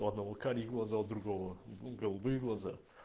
у одного карие глаза у другого ну голубые глаза